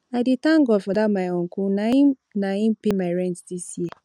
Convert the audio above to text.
i dey thank god for dat my uncle na im na im pay my rent dis year